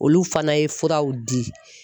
Olu fana ye furaw di.